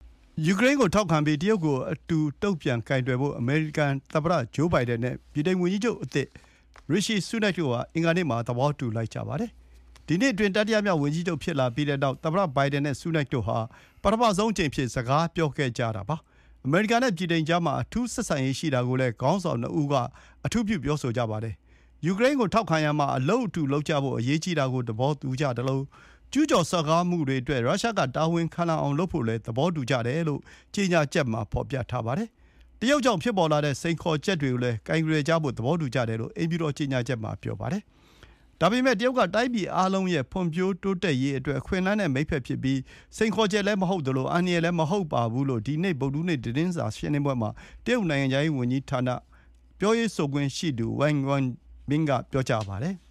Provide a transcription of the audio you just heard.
ယူကရိန်းကိုထောက်ခံပြီး တရုတ်ရဲ့စိန်ခေါ်မှုတွေကိုအတူတုံ့ပြန်ကိုင်တွယ်ဖို့ အမေရိကန် သမ္မတ ဘိုင်ဒန်နဲ့ ဗြိတိန်ဝန်ကြီးချုပ်သစ် Rishi Sunak တို့ အင်္ဂါနေ့က သဘောတူခဲ့ကြပါတယ်။ ဝန်ကြီးချုပ်ဆူးနက် ဝန်ကြီးချုပ်တာဝန်ယူလိုက်တဲ့နေ့မှာပဲ သမ္မတဘိုင်ဒန်နဲ့ ပထမဆုံးအကြိမ် ဆွေးနွေးခဲ့ကြတာ ဖြစ်ပါတယ်။ အမေရိကန်နဲ့ ဗြိတိန်ကြားမှာ အထူးဆက်ဆံရေးရှိတာကိုလည်း ခေါင်းဆောင် ၂ ဦး က သဘောတူကြပါတယ်။ “ယူကရိန်းကို ထောက်ခံရာမှာ အလုပ်အတူလုပ်ကြဖို့ အရေးကြီးတာကို သဘောတူကြသလို ကျူးကျော်စော်ကားမှုတွေအတွက် ရုရှားက တာဝန်ခံလာအောင် လုပ်ဖို့လည်း သဘောတူကြပါတယ်လို့ ကြေညာချက်မှာ ဖော်ပြထားပါတယ်။ တရုတ်ကြောင့်ဖြစ်ပေါ်လာတဲ့စိန်ခေါ်ချက်တွေကိုလည်း ကိုင်တွယ်ကြဖို့ သဘောတူကြတယ်လို့ အိမ်ဖြူတော်ကြေညာချက်မှာ ပြောပါတယ်။ ဒါပေမယ့် တရုတ်က တိုင်းပြည်အားလုံးရဲ့ ဖွံ့ဖြိုးတိုးတက်ရေးအတွက် အခွင့်အလမ်းနဲ့ မိတ်ဘက်ဖြစ်ပြီး စိန်ခေါ်ချက်လည်းမဟုတ်သလို အန္တရာယ်လည်းမဟုတ်ပါဘူးလို့ ဒီနေ့ ဗုဒ္ဓဟူးနေ့ တရုတ်နိုင်ငံခြားရေးဝန်ကြီးဌာန သတင်းစာရှင်းလင်းပွဲမှာ ပြောရေးဆိုခွင့်ရှိသူ Wang Wenbin က ပြောပါတယ်။